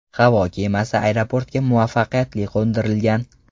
Havo kemasi aeroportga muvaffaqiyatli qo‘ndirilgan.